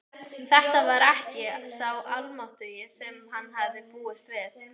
Þetta var ekki sá Almáttugi sem hann hafði búist við.